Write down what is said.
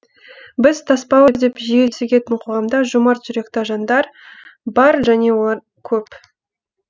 біз тасбауыр деп жиі сөгетін қоғамда жомарт жүректі жандар бар және олар көп